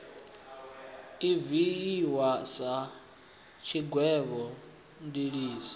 i dzhiiwi sa tshigwevho ndiliso